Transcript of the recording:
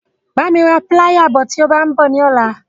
Bá mi ra píláyà bọ̀ tí o bá ń bọ̀ ní ọ̀la.